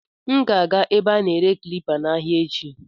M ga-aga ebe a na-ere klipa n'ahịa echi.